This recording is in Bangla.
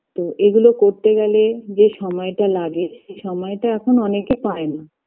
তো এগুলো করতে গেলে যে সময়টা লাগে সেই সময়টা এখন অনেকে পায়না